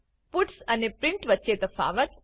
puts અને print વચ્ચે તફાવત